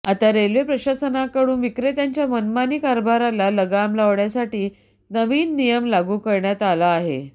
आता रेल्वे प्रशासनाकडून विक्रेत्यांच्या मनमानी कारभाराला लगाम लावण्यासाठी नवीन नियम लागू करण्यात आला आहे